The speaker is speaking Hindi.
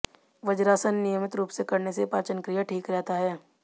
वज्रासन नियमित रूप से करने से पाचन क्रिया ठीक रहता है